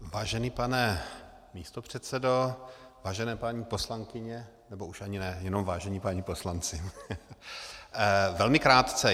Vážený pane místopředsedo, vážené paní poslankyně - nebo už ani ne, jenom vážení páni poslanci, velmi krátce.